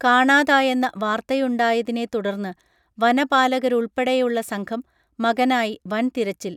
കാണാതായെന്ന വാർത്തയുണ്ടായതിനെത്തുടർന്ന് വനപാലകരുൾപ്പെടെയുള്ള സംഘം മകനായി വൻതിരച്ചിൽ